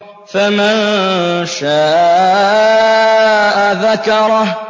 فَمَن شَاءَ ذَكَرَهُ